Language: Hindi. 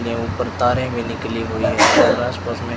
ये ऊपर तारें भी निकाली हुई है और आस पास में--